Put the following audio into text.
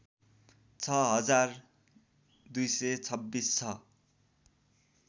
छ हजार २२६ छ